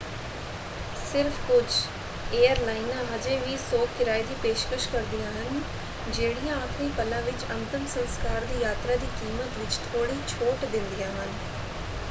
ਸਿਰਫ ਕੁਝ ਏਅਰਲਾਈਨਾਂ ਹਜੇ ਵੀ ਸੋਗ ਕਿਰਾਏ ਦੀ ਪੇਸ਼ਕਸ਼ ਕਰਦੀਆਂ ਹਨ ਜਿਹੜੀਆਂ ਆਖਰੀ ਪਲਾਂ ਵਿੱਚ ਅੰਤਮ ਸੰਸਕਾਰ ਦੀ ਯਾਤਰਾ ਦੀ ਕੀਮਤ ਵਿੱਚ ਥੋੜ੍ਹੀ ਛੋਟ ਦਿੰਦੀਆਂ ਹਨ।